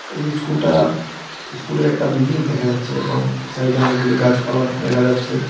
এই স্কুল -টা স্কুল -এর একটা বিল্ডিং দেখা যাচ্ছে এবং সাইড -এ অনেকগুলি গাছপালা দেখা যাচ্ছে।